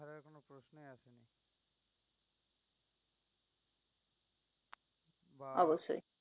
অবশ্যই।